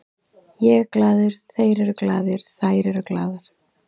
Ég er glaður, þeir eru glaðir, þær eru glaðar.